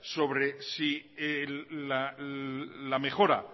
sobre si la mejora